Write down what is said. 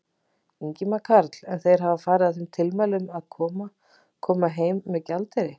Ingimar Karl: En hafa þeir farið að þeim tilmælum að, að, koma heim með gjaldeyri?